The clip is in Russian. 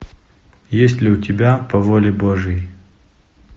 есть ли у тебя по воле божьей